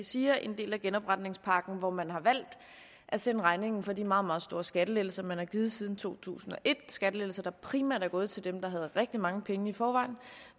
siger en del af genopretningspakken hvor man har valgt at sende regningen for de meget meget store skattelettelser man har givet siden to tusind og et skattelettelser der primært er gået til dem der havde rigtig mange penge i forvejen